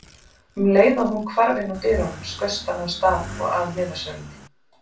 Um leið og hún hvarf innúr dyrunum skaust hann af stað og að miðasölunni.